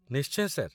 ନିଶ୍ଚୟ, ସାର୍